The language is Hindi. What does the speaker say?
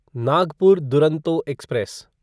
नागपुर दुरंतो एक्सप्रेस